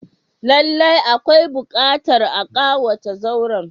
Lallai akwai buƙatar a kawata zauren.